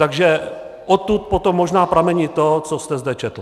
Takže odtud potom možná pramení to, co jste zde četl.